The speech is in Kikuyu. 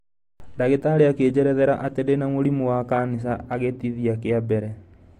Ndagĩtarĩ akĩnjerethera atĩ ndĩ na mũrimũ wa kanica a gĩtithia kĩa mbere.